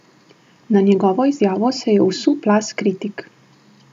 Na njegovo izjavo se je vsul plaz kritik.